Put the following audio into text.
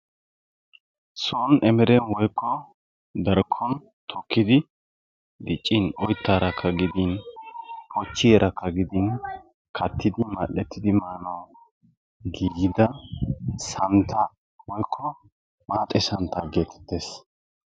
soni emeren woykko darkon tokkidi diccin oytaarakka gidin pochiyaaraka maanawu giigida santaa woykko maaxe santaa geetettees.